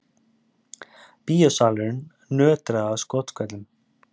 Bíósalurinn nötraði af skothvellum.